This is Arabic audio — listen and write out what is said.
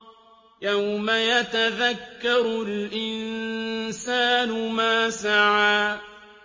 يَوْمَ يَتَذَكَّرُ الْإِنسَانُ مَا سَعَىٰ